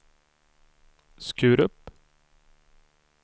Skurup